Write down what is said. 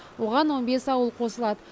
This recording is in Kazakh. оған он бес ауыл қосылады